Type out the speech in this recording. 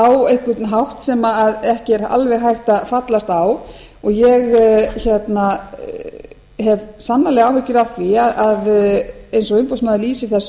á einhvern hátt sem ekki er alveg hægt að fallast á ég hef sannarlega áhyggjur af því að eins og umboðsmaður lýsir þessu